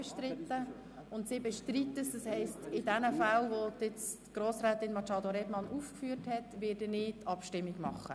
Da nun einige Artikel bestritten werden, wird in diesen Fällen eine Abstimmung stattfinden.